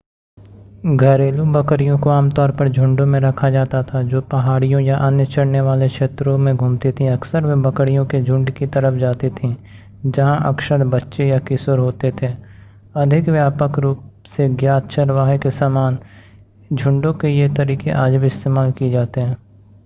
घरेलू बकरियों को आम तौर पर झुंडों में रखा जाता था जो पहाड़ियों या अन्य चरने वाले क्षेत्रों में घूमती थीं अक्सर वे बकरियों के झुंड की तरफ जाती थीं जहां अक्सर बच्चे या किशोर होते थे अधिक व्यापक रूप से ज्ञात चरवाहे के समान झुंडों के ये तरीके आज भी इस्तेमाल किए जाते हैं